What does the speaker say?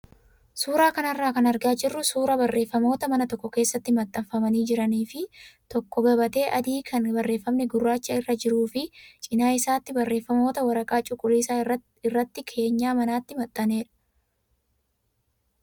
Suuraa kanarraa kan argaa jirru suuraa barreeffamoota mana tokko keessatti maxxanfamanii jiranii fi tokko gabatee adii kan barreeffamni gurraachi irra jiruu fi cinaa isaatti barreeffamoota waraqaa cuquliisa irratti keenyaa manaatti maxxanedha.